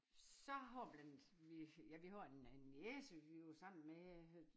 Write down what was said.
Så har vi en vi ja vi har en en niece vi var sammen med øh